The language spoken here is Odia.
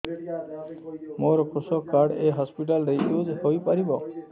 ମୋର କୃଷକ କାର୍ଡ ଏ ହସପିଟାଲ ରେ ୟୁଜ଼ ହୋଇପାରିବ